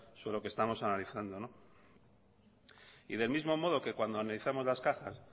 sobre lo que estamos analizando y del mismo modo que cuando analizamos las cajas